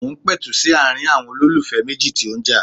Mo ń pẹ̀tù sí ààrin ̀ọn olólùfẹ́ méjì tí ó ń jà.